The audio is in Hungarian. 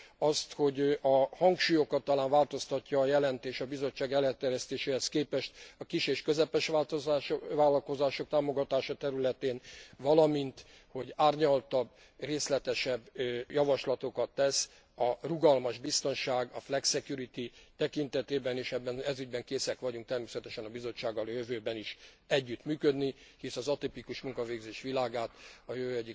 Azt, hogy a hangsúlyokat talán változtatja a jelentés a Bizottság előterjesztéséhez képest a kis és közepes vállalkozások támogatása területén, valamint hogy árnyaltabb, részletesebb javaslatokat tesz a rugalmas biztonság, a flexicurity tekintetében, és ezügyben készek vagyunk természetesen a Bizottsággal a jövőben is együttműködni, hisz az atipikus munkavégzés világát a jövő egyik lehetőségének tartjuk.